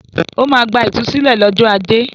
Ó máa gba ìtúsílẹ̀ lọ́jọ́ ajé.